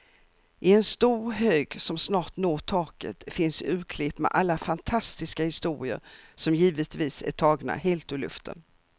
I en stor hög som snart når taket finns urklipp med alla fantastiska historier, som givetvis är tagna helt ur luften.